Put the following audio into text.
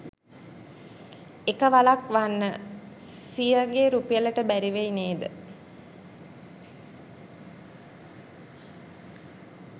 එක වලක් වන්න සියගෙ රුපියලට බැරි වෙයි නෙද?